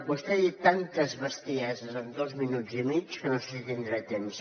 vostè ha dit tantes bestieses en dos minuts i mig que no sé si tindré temps